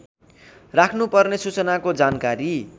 राख्नुपर्ने सूचनाको जानकारी